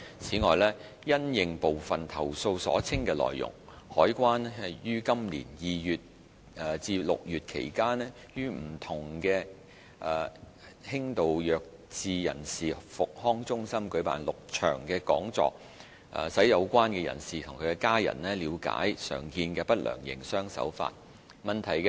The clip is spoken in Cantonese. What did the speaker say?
此外，因應部分投訴所稱的內容，海關於今年2月至6月期間，於不同的輕度弱智人士復康中心舉辦6場講座，使有關人士及其家人了解常見的不良營商手法。